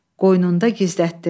Qoynunda gizlətdi.